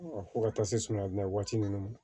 Fo ka taa se samiya donda waati ninnu ma